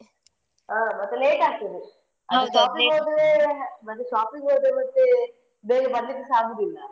ಹಾ ಮತ್ತೇ late ಆಗ್ತದೆ ಮತ್ತೆ shopping ಗೆ ಹೋದ್ರೆ ಮತ್ತೆ ಬೇಗ ಬರ್ಲಿಕ್ಕೆಸ ಆಗುದಿಲ್ಲಾ.